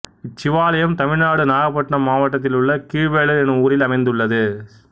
இச்சிவாலயம் தமிழ்நாடு நாகப்பட்டினம் மாவட்டத்திலுள்ள கீழ்வேளூர் எனும் ஊரில் அமைந்துள்ளது